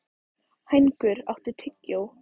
Hængur, áttu tyggjó?